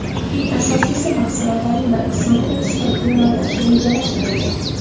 Eng asosiysi, mahsulotlarning bir qismini eksportga yo‘naltirish rejalashtirilgan.